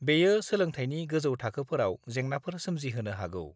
बेयो सोलोंथाइनि गोजौ थाखोफोराव जेंनाफोर सोमजिहोनो हागौ।